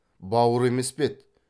бауыр емес пе еді